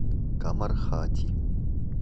камархати